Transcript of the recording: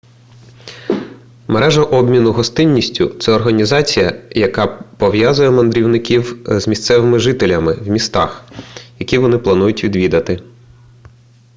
мережа обміну гостинністю це організація яка пов'язує мандрівників з місцевими жителями в містах які вони планують відвідати